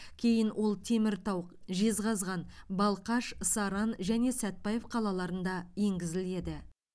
кейін ол теміртау жезқазған балқаш саран және сәтбаев қалаларында енгізіледі